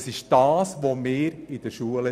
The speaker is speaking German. Das trainieren wir in der Schule.